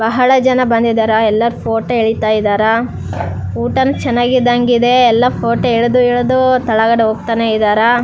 ಬಹಳ ಜನ ಬಂದಿದಾರ ಎಲ್ಲ ಫೊಟೊ ಎಳ್ತಾ ಇದಾರ ಊಟಾನು ಚೆನ್ನಗ್ ಇದ್ದಂಗ್ ಇದೆ ಎಲ್ಲ ಫೊಟೊ ಎಳ್ದು ಎಳ್ದು ತಳಗಡೆ ಹೋಗ್ತಾನೆ ಇದಾರ.